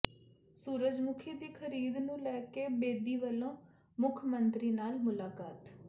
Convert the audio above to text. ਸੂਰਜਮੁਖੀ ਦੀ ਖ਼ਰੀਦ ਨੂੰ ਲੈ ਕੇ ਬੇਦੀ ਵੱਲੋਂ ਮੁੱਖ ਮੰਤਰੀ ਨਾਲ ਮੁਲਾਕਾਤ